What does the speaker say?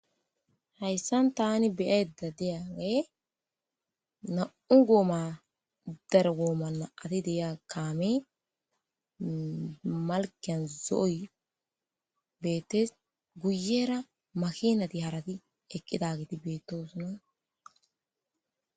hayssan tani beyeda deae na7u gooma dargoomanna ati deya kaame malken zooyi beettes guyera makinati harati eqqidagiti beettoosna